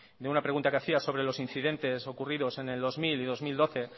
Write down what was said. de una pregunta que hacía sobre los incidentes ocurridos en el dos mil y dos mil doce